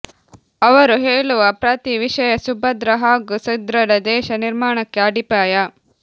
ಅವರು ಹೇಳುವ ಪ್ರತಿ ವಿಷಯ ಸುಭದ್ರ ಹಾಗೂ ಸದೃಢ ದೇಶ ನಿರ್ಮಾಣಕ್ಕೆ ಅಡಿಪಾಯ